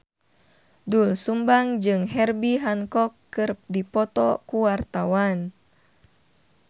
Doel Sumbang jeung Herbie Hancock keur dipoto ku wartawan